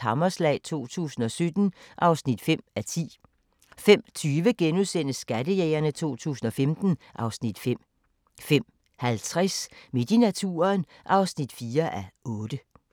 Hammerslag 2017 (5:10)* 05:20: Skattejægerne 2015 (Afs. 5)* 05:50: Midt i naturen (4:8)